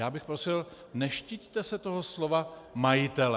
Já bych prosil, neštiťte se toho slova majitelé.